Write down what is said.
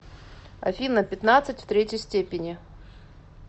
афина пятнадцать в третьей степени